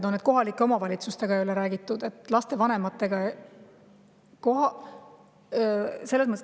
Kas see, et kohalike omavalitsustega ei ole räägitud ja lapsevanematega?